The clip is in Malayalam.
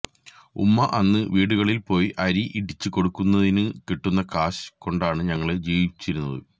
ഉമ്മ അന്ന് വീടുകളില് പോയി അരി ഇടിച്ചു കൊടുക്കുന്നതിനു കിട്ടുന്ന കാശ് കൊണ്ടാണ് ഞങ്ങള് ജീവിച്ചിരുന്നത്